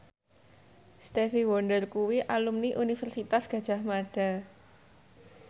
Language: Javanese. Stevie Wonder kuwi alumni Universitas Gadjah Mada